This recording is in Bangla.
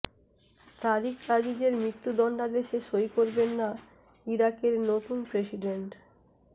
তারিক আজিজের মৃত্যুদণ্ডাদেশে সই করবেন না ইরাকের নতুন প্রেসিডেন্ট